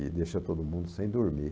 E deixa todo mundo sem dormir.